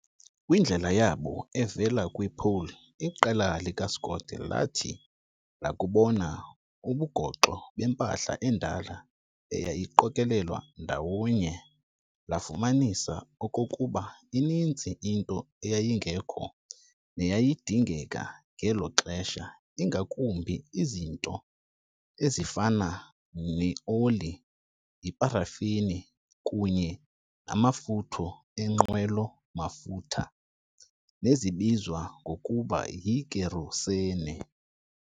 Kwindlela yabo evela kwi-Pole, iqela likaScott lathi lakubona ubugoxo bempahla endala eyayiqokolelwe ndawo nye lafumanisa okokuba ininzi into eyayingekho neyayidingeka ngelo xesha, ingakumbi izinto ezifana ne-oli, iparafini kunye namafutha eenqwelo-mafutha nezibizwa ngokuba yi-Kerosene.